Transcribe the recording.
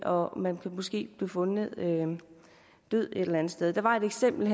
og måske blive fundet død et eller andet sted der var et eksempel